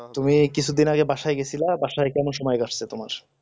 তুমি কিছুদিন আগে বাসায় গেছিলা বাসায় কেমন সময় যাচ্ছে তোমার